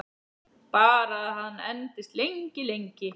Bara að hann endist lengi, lengi.